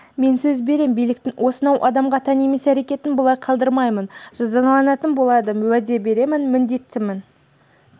мен сөз берем биліктің осынау адамға тән емес әрекетін бұлай қалдырмаймын жазаланатын болады уәде беремін міндеттімін